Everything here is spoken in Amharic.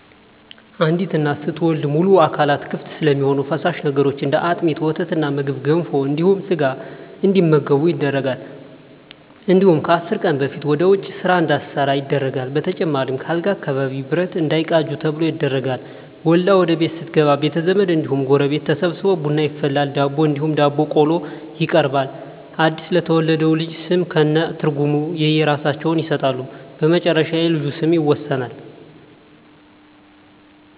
አንዲት እናት ስትወልድ ሙሉ አካላቶች ክፍት ስለሚሆኑ ፈሳሽ ነገሮች እንደ አጥሚት: ወተትና ምግብ ገንፎ እንዲሁም ስጋ እንዲመገቡ ይደረጋል እንዲሁም ከአስር ቀን በፊት ወደ ውጭ እና ስራ እንዳትሠራ ይደረጋል በተጨማሪም ከአልጋ አካባቢ ብረት እንዳይቃጁ ተብሎ ይደረጋል። ወልዳ ወደቤት ስትገባ ቤተዘመድ እንዲሁም ጎረቤት ተሠብስቦ ቡና ይፈላል ዳቦ እንዲሁም ዳቦ ቆሎ ይቀርባል አድስ ለተወለደው ልጅ ስም ከእነ ትርጉም የእየራሳቸውን ይሠጣሉ በመጨረሻ የልጁ ስም ይወሰናል።